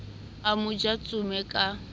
a mo ja tsome ka